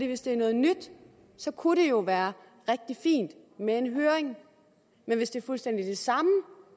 hvis det er noget nyt kunne det jo være rigtig fint med en høring men hvis det er fuldstændig det samme